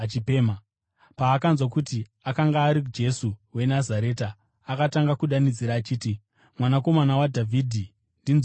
Paakanzwa kuti akanga ari Jesu weNazareta, akatanga kudanidzira achiti, “Mwanakomana waDhavhidhi, ndinzwirei ngoni!”